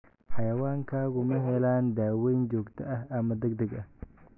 Xayawaankaagu ma helaan daaweyn joogto ah ama degdeg ah?